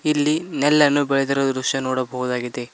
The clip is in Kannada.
ಇಲ್ಲಿ ನೆಲ್ಲನ್ನು ಬೆಳೆದಿರುವ ದೃಶ್ಯ ನೋಡಬಹುದಾಗಿದೆ.